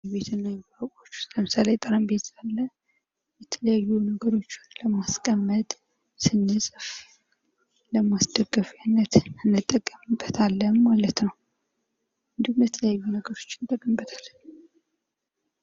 ከቤት እቃዎች ውስጥ ለምሳሌ ጠረጴዛ አለ ፤ የተለያዩ ነገሮችን ለማስቀመጥ እንዲሁም ስንጽፍ ለማስደገፊያነት እንጠቀምበታለን ማለት ነው። እንዲሁም የተለያዩ ነገሮችንና አድርግበታለን።